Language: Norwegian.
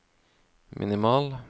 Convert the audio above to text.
minimal